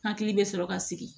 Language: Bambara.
Hakili bɛ sɔrɔ ka sigi